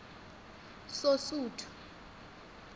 sosuthu